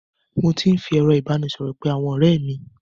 Mo ti ń fi ẹ̀rọ ìbánisọ̀rọ̀ pé àwọn ọ̀rẹ́ mi.